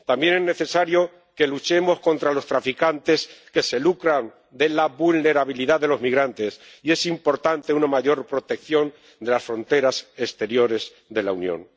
También es necesario que luchemos contra los traficantes que se lucran de la vulnerabilidad de los migrantes, y es importante una mayor protección de las fronteras exteriores de la Unión.